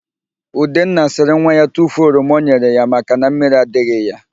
Udenna sịrị nwa ya tufuo oroma ọ nyere ya maka na mmiri adịghị ya.